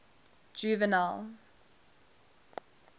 juvenal